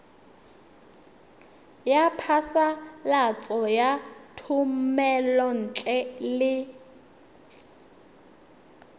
ya phasalatso ya thomelontle le